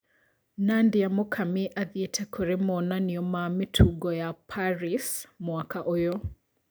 Nadia Mukami athĩete kũri monanio ma mĩtungo ya Paris mwaka ũyũ